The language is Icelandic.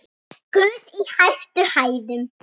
Guð í hæstum hæðum!